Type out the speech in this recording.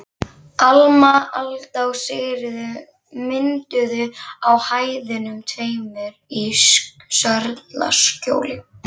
Alma, Alda og Sigríður mynduðu á hæðunum tveimur í Sörlaskjóli.